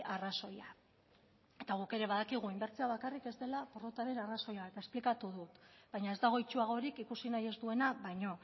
arrazoia eta guk ere badakigu inbertsioa bakarrik ez dela porrotaren arrazoia eta esplikatu dut baina ez dago itsuagorik ikusi nahi ez duena baino